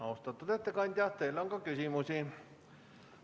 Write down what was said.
Austatud ettekandja, teile on ka küsimusi.